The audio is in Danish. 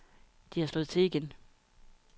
De har slået til igen.